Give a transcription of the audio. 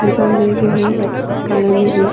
अंदर जो है व्हाइट कलर में है।